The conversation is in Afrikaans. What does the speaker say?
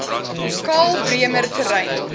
karl bremer terrein